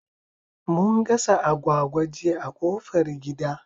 Mun gasa agwagwa jiya a ƙofar gida